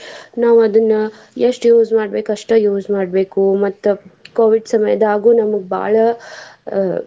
ನಾವ್ ಅದನ್ನ ಎಷ್ಟ್ use ಮಾಡ್ಬೇಕ್. ಅಷ್ಟೇ use ಮಾಡ್ಬೇಕು ಮತ್ತ Covid ಸಮಯದಾಗೂ ನಮ್ಗ್ ಬಾಳ ಅಹ್.